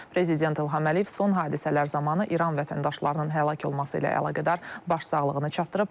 Prezident İlham Əliyev son hadisələr zamanı İran vətəndaşlarının həlak olması ilə əlaqədar başsağlığını çatdırıb.